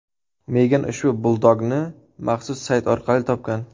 Megan ushbu buldogni maxsus sayt orqali topgan.